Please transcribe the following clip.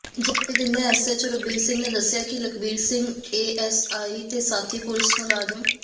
ਜਾਣਕਾਰੀ ਦਿੰਦਿਆਂ ਐੱਸਐੱਚਓ ਰਘਬੀਰ ਸਿੰਘ ਨੇ ਦੱਸਿਆ ਕਿ ਲਖਬੀਰ ਸਿੰਘ ਏਐੱਸਆਈ ਤੇ ਸਾਥੀ ਪੁਲਿਸ ਮ